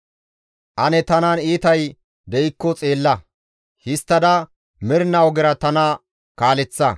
Ane tanan iitay de7ikko xeella; histtada mernaa ogera tana kaaleththa.